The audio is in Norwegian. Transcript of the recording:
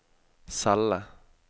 celle